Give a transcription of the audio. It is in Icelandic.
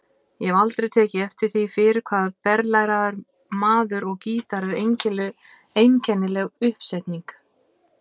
Ég hef aldrei tekið eftir því fyrr hvað berlæraður maður og gítar er einkennileg uppstilling.